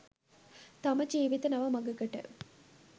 තම ජීවිත නව මඟකට